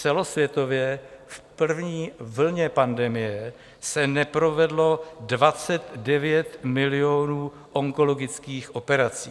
Celosvětově v první vlně pandemie se neprovedlo 29 milionů onkologických operací.